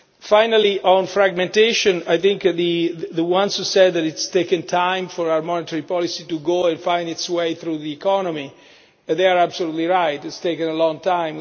Finally, on fragmentation, I think the ones who said that it has taken time for our monetary policy to go and find its way through the economy are absolutely right. It has taken a long time.